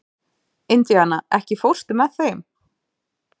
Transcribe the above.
Indiana, ekki fórstu með þeim?